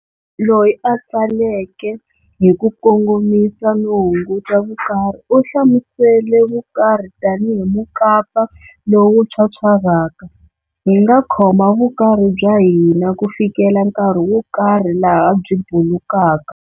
Loyi a tsaleke hi ku kongomisa no hunguta vukarhi, u hlamusele vukarhi tani hi mukapa lowu phyaphyarhaka-hinga khoma vukarhi bya hina kufikela nkarhi wokarhi laha byi bulukaka.